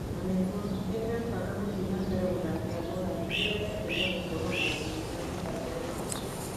Na nĩguo, nĩndĩrabanga gũthiĩ na mbere gũthakĩra Morani rĩrĩa rĩothe megũkorwo na niĩ na mekwenda ngorũo nao.